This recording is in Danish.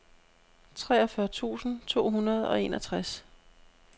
treogfyrre tusind to hundrede og enogtres